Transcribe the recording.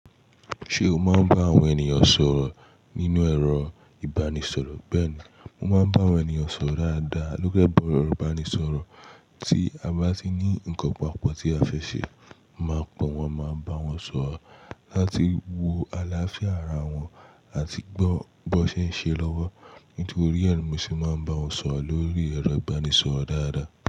Ṣé o máa ń bá àwọn ènìyàn sọ̀rọ̀ nínú ẹ̀rọ ìbánisọ̀rọ̀? Bẹ́ẹ̀ni, mo máa ń bá àwọn ènìyàn sọ̀rọ̀ dáadáa lórí ẹ̀rọ ìbánisọ̀rọ̀. Tí a bá ti ní nǹkan pàápọ̀ tí a fẹ́ ṣe, mo máa pọ́n wọn, máa bá wọn sọ̀rọ̀ láti wo àlàáfíà ara wọn àti gbọ́ bó ṣe ń ṣe lọ́wọ́. Nítorí ẹ ni, mo sì máa ń bá wọn sọ̀rọ̀ lórí ẹ̀rọ ìbánisọ̀rọ̀ dáadáa.